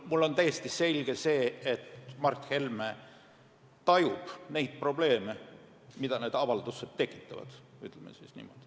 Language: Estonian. Mulle on täiesti selge, et Mart Helme tajub neid probleeme, mida need avaldused tekitavad, ütleme siis niimoodi.